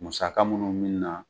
Musaka minnu mi na